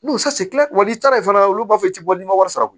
N'u n'i taara yen fɛnɛ olu b'a fɔ i ti bɔ ni wari sara